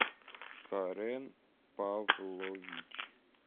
карен павлович